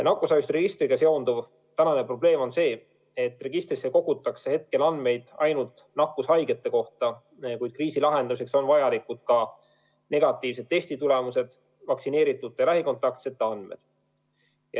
Nakkushaiguste registriga seonduv praegune probleem on see, et registrisse kogutakse andmeid ainult nakkushaigete kohta, kuid kriisi lahendamiseks on vajalikud ka negatiivsed testitulemused ja vaktsineeritute lähikontaktsete andmed.